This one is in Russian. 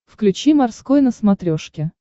включи морской на смотрешке